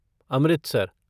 Amritsar